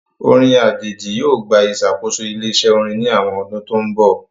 Orin ajeji yoo gba isakoso ile-iṣẹ orin ni awọn ọdun to nbọ.